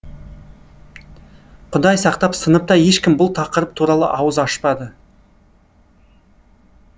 құдай сақтап сыныпта ешкім бұл тақырып туралы ауыз ашпады